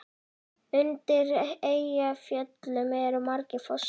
Undir Eyjafjöllum eru margir fossar.